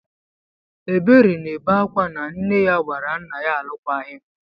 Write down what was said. Ebere na-ebe ákwá na nne ya gbara nna ya alụkwaghịm.